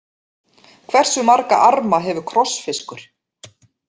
Hversu marga arma hefur krossfiskur?